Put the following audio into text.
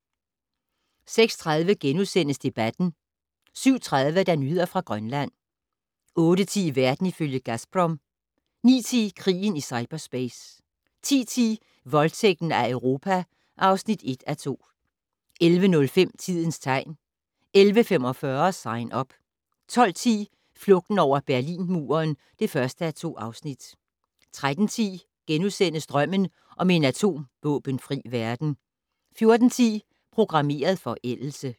06:30: Debatten * 07:30: Nyheder fra Grønland 08:10: Verden ifølge Gazprom 09:10: Krigen i cyperspace 10:10: Voldtægten af Europa (1:2) 11:05: Tidens tegn 11:45: Sign Up 12:10: Flugten over Berlinmuren (1:2) 13:10: Drømmen om en atomvåbenfri verden * 14:10: Programmeret forældelse